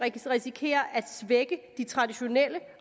risikerer at svække de traditionelle